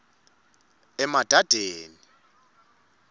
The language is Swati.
emadadeni